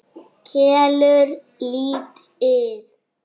Kelur lítið.